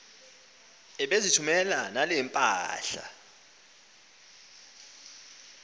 ebezithumela nale mpahla